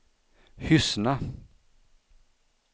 Hyssna